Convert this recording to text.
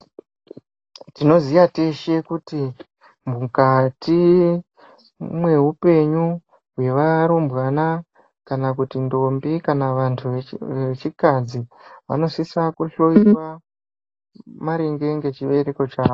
Tinoziya teshe kuti mukati mwehupenyu hwevarumbwana kana kuti ndombi kana vantu vechikadzi vanosisa kuhloyiwa maringe nechibereko chavo.